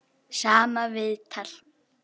Sama viðtal.